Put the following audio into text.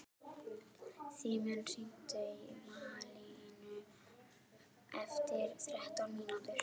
Simmi, hringdu í Malínu eftir þrettán mínútur.